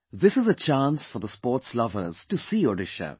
This is a chance for the sports lovers to see Odisha